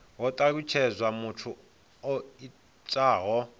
ho talutshedzwa muthu o itaho